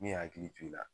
Min hakili to i la